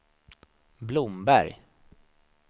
Blomberg